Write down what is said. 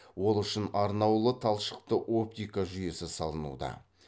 ол үшін арнаулы талшықты оптика жүйесі салынуда